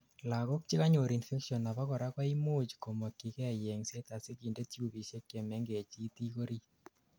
lagok chekanyor infections abakora koimuch komokyigei yengset asikinde tubisiek chemengech itik orit